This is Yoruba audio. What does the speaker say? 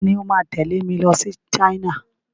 Ta ni ó máa tẹ̀lé mi lọ sí China?